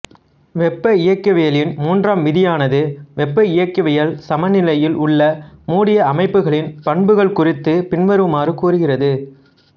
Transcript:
வெப்ப இயக்கவியலின் மூன்றாம் விதியானது வெப்ப இயக்கவியல் சமநிலையில் உள்ள மூடிய அமைப்புகளின் பண்புகள் குறித்துப் பின்வருமாறு கூறுகிறது